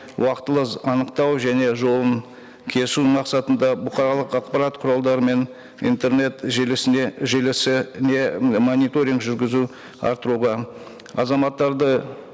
уақытылы анықтау және жолын кесу мақсатында бұқаралық ақпарат құралдары мен интернет желісіне желісіне мониторинг жүргізу арттыруға азаматтарды